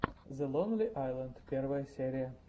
зе лонли айленд первая серия